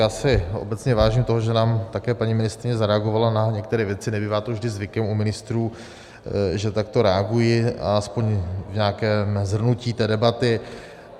Já si obecně vážím toho, že nám také paní ministryně zareagovala na některé věci, nebývá to vždy zvykem u ministrů, že takto reagují, aspoň v nějakém shrnutí té debaty.